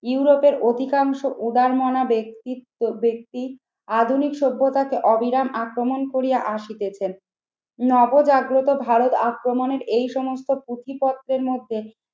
ইউরোপের অধিকাংশ উদার মনা ব্যক্তিত্ব ব্যক্তি আধুনিক সভ্যতাকে অবিরাম আক্রমণ করিয়া আসিতেছেন। নবজাগ্রত ভারত আক্রমনের এই সমস্ত প্রতিপক্ষের মধ্যে